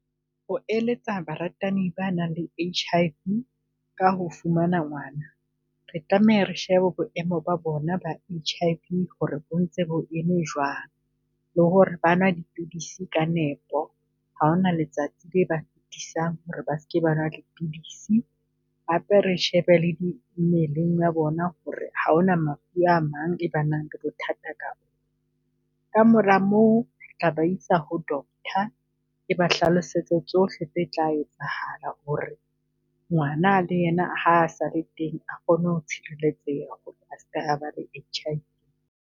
Ho eletsa baratani ba nang le H_I_V ka ho fumana ngwana, re tlameha re shebe boemo ba bona ba H_I_V ho re bontse bo eme jwang, le ho re ba nwa dipidisi ka nepo ha hona letsatsi le ba fitisang ho re ba seke ba nwa dipidisi. Hape re shebe le mmeleng ya bona ho re ha hona mafu a mang e banang le bothata . Ka ka mora moo re tla ba isa ho Doctor e ba hlalosetse tsohle tse tla etsahala ho re ngwana le yena ha sale teng a kgone ho tshireletseha ho re a ske a ba le H_I_V.